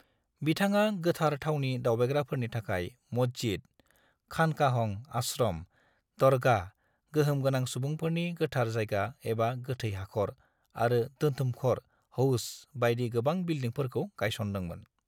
बिथाङा गोथार थावनि दावबायग्राफोरनि थाखाय मस्जिद, खानकाहं (आश्रम), दरगाह (गोहोम गोनां सुबुंफोरनि गोथार जायगा एबा गोथै हाखर) आरो दोनथुमखर (हौज) बायदि गोबां बिलडिंफोरखौ गायसनदोंमोन।